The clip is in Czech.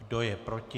Kdo je proti?